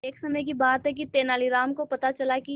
एक समय की बात है कि तेनालीराम को पता चला कि